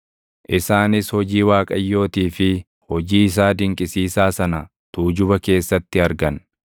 Isaanis hojii Waaqayyootii fi hojii isaa dinqisiisaa sana tuujuba keessatti argan.